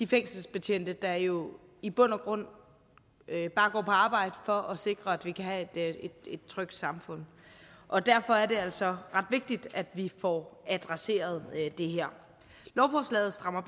fængselsbetjente der jo i bund og grund bare går på arbejde for at sikre at vi kan have et trygt samfund og derfor er det altså ret vigtigt at vi får adresseret det her lovforslaget strammer